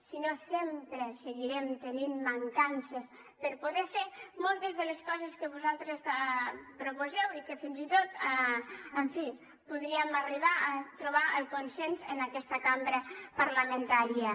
si no sempre seguirem tenint mancances per poder fer moltes de les coses que vosaltres proposeu i que fins i tot en fi podríem arribar a trobar el consens en aquesta cambra parlamentària